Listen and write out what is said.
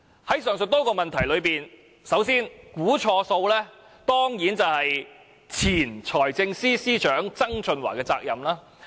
在上述多個問題中，估算錯誤當然是前任財政司司長曾俊華的責任。